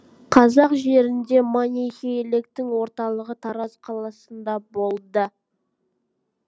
қазақ жерінде манихейліктің орталығы тараз қаласында болды